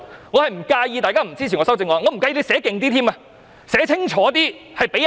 我不介意大家不支持我的修正案，也不介意罰則更重。